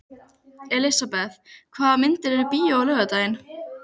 Elisabeth, hvaða myndir eru í bíó á laugardaginn?